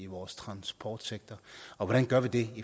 vores transportsektor og hvordan gør vi det